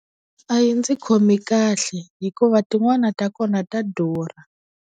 A yi ndzi khomi kahle hikuva tin'wana ta kona ta durha.